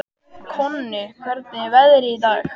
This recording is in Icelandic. Konni, hvernig er veðrið í dag?